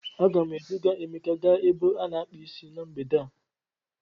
A ga m eduga emeka gaa ebe a na-akpu Ịsị na mgbede a.